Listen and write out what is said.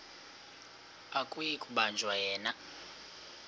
akuyi kubanjwa yena